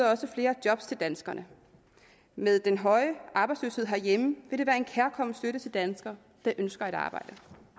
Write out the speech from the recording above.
også flere job til danskerne med den høje arbejdsløshed herhjemme ville det være en kærkommen støtte til danskere der ønsker et arbejde